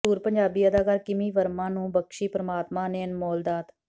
ਮਸ਼ਹੂਰ ਪੰਜਾਬੀ ਅਦਕਾਰਾ ਕਿਮੀ ਵਰਮਾ ਨੂੰ ਬਖਸ਼ੀ ਪਰਮਾਤਮਾ ਨੇ ਇਹ ਅਨਮੋਲ ਦਾਤ